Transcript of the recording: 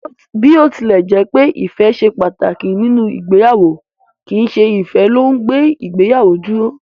Bí ó tilẹ̀ jẹ́pẹ́ ìfẹ́ ṣe pàtàkì nínú ìgbéyàwó, kìí ṣe ìfẹ́ ló ùn gbé ìgbéyàwó dúró.